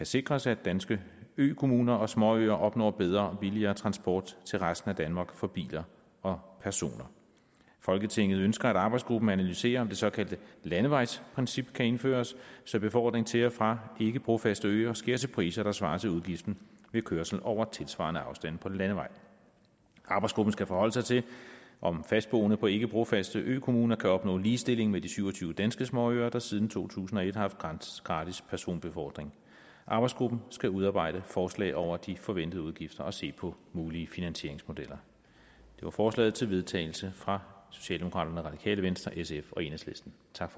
sikres at danske økommuner og småøer opnår bedre og billigere transport til resten af danmark for biler og personer folketinget ønsker at arbejdsgruppen analyserer om det såkaldte landevejsprincip kan indføres så befordring til og fra ikke brofaste øer sker til priser der svarer til udgiften ved kørsel over tilsvarende afstande på landevej arbejdsgruppen skal desuden forholde sig til om fastboende på ikke brofaste økommuner kan opnå ligestilling med de syv og tyve danske småøer der siden to tusind og et har haft gratis personbefordring arbejdsgruppen skal udarbejde overslag over de forventede udgifter og se på mulige finansieringsmodeller det var forslaget til vedtagelse fra socialdemokraterne radikale venstre sf og enhedslisten tak